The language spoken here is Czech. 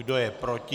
Kdo je proti?